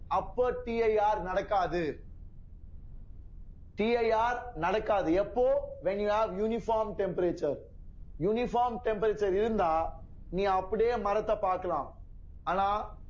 அப்ப TIR நடக்காது TIR நடக்காது எப்போ when you are uniform temperature uniform temperature இருந்தா நீ அப்படியே மரத்த பார்க்கலாம் ஆனா